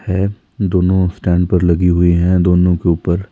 है दोनों स्टैंड पर लगी हुई है दोनों के ऊपर--